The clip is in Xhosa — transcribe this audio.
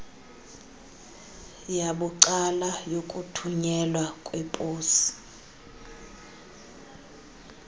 yabucala yokuthunyelwa kweposi